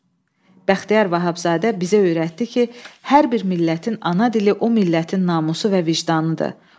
Bəxtiyar Vahabzadə bizə öyrətdi ki, hər bir millətin ana dili o millətin namusu və vicdanıdır.